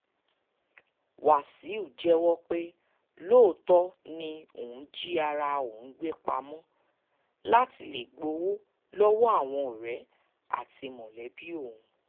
wàṣíù jẹ́wọ́ pé lóòótọ́ ni òun jí ara òun gbé pamọ́ láti lè gbowó lọ́wọ́ àwọn ọ̀rẹ́ àti mọ̀lẹ́bí òun